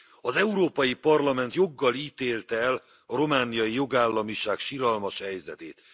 Az Európai Parlament joggal ítélte el a romániai jogállamiság siralmas helyzetét.